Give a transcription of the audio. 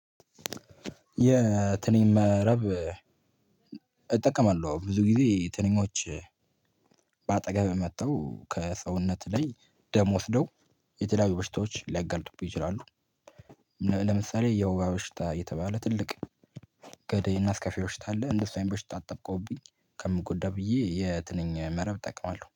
የትንኝ መረብ እጠቀማለሁ ብዙ ጊዜ ትንኞች ባጠገብህ መጥተው ከሰውነት ላይ ደም ወስደው የተለያዩ በሽታዎች ሊያጋልጡብህ ይችላሉ። ለምሳሌ የወባ በሽታ እየተባለ ትልቅ ገደይ እና አስከፊ በሽታ አለ። እንደሱ አይን በሽታ አጠብቆብኝ ከምጎዳ ብዬ የትንኝ መረብ እጠቀማለሁ